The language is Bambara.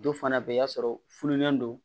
Dɔw fana bɛ yen i b'a sɔrɔ fununen don